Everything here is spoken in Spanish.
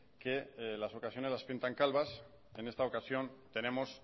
que las ocasiones las pintan calvas en esta ocasión tenemos